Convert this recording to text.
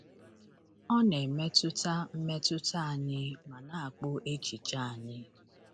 Ọ na-emetụta mmetụta anyị ma na-akpụ echiche anyị.